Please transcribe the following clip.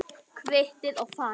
Kvittið og farið.